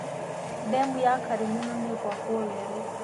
Demu ya Karĩmĩnũ nĩĩgwakwo weerũ